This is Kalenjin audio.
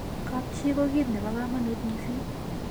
kab chii ko kit nebo kamanut mising